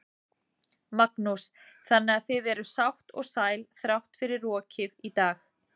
Magnús: Þannig að þið eruð sátt og sæl þrátt fyrir rokið í dag?